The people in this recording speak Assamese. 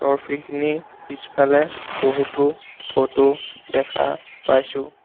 ট্ৰফী খিনি পিছফালে বহুতো ফটো দেখা পাইছোঁ।